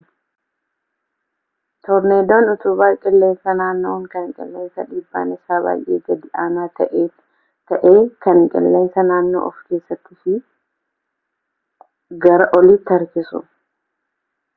toorneedoon utubaa qilleensa naanna'uu kan qilleensa dhiibbaan isaa baay'ee gad aanaa ta'ee kan qilleensa naannoo of keessattii fi gara oliitti harkisu